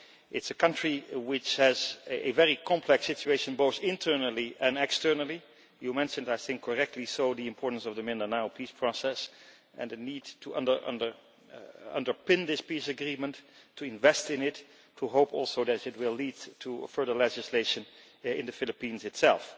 It is a country which has a very complex situation both internally and externally you mentioned and correctly so the importance of the Mindanao peace process and the need to underpin this peace agreement, to invest in it, and to hope also that it will lead to further legislation in the Philippines itself.